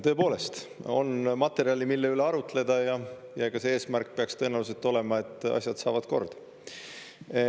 Tõepoolest, on materjali, mille üle arutleda, ja ega see eesmärk peaks tõenäoliselt olema, et asjad saavad kord.